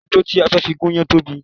Odó ti a fẹ́ fi gúnyán tóbi